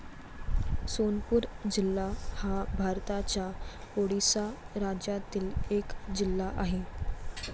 सोनपूर जिल्हा हा भारताच्या ओडिसा राज्यातील एक जिल्हा आहे.